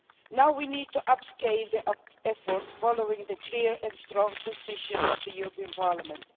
Now we need to up scale the efforts following the clear and strong position of the European Parliament.